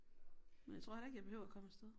Men jeg tror heller ikke jeg behøver komme afsted